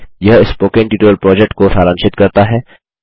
यह spoken tutorial project को सारांशित करता है